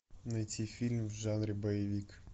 найти фильм в жанре боевик